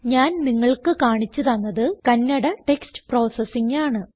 ഞാൻ നിങ്ങൾക്ക് കാണിച്ച് തന്നത് കന്നഡ ടെക്സ്റ്റ് പ്രോസസിംഗ് ആണ്